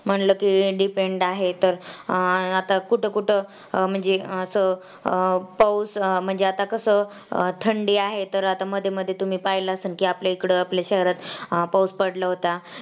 म्हटलं कि Depend आहे तर अं आता कुठं कुठं म्हणजे अं अं पाऊस म्हणजे आता कसं थंडी आहे तर आता मध्ये मध्ये तुम्ही पाहिलं असेल की आपल्या इकडं आपल्या शहरात पाऊस पडला होता.